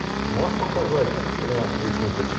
можешь показать тринадцать причин почему